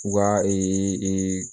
U ka ee